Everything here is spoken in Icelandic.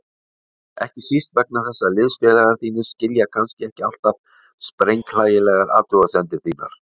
Ekki síst vegna þess að liðsfélagar þínir skilja kannski ekki alltaf sprenghlægilegar athugasemdir þínar.